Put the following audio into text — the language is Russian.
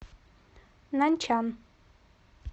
наньчан